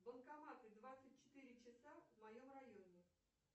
банкоматы двадцать четыре часа в моем районе